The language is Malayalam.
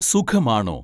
സുഖമാണോ